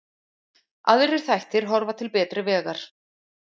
Aðrir þættir horfa til betri vegar